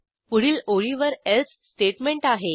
पुढील ओळीवर else statement आहे